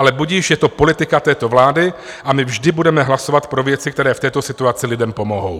Ale budiž, je to politika této vlády a my vždy budeme hlasovat pro věci, které v této situaci lidem pomohou.